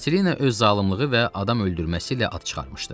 Katelina öz zalımlığı və adam öldürməsi ilə ad çıxarmışdı.